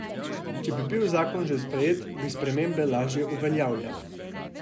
Če bi bil zakon že sprejet, bi spremembe lažje uveljavili.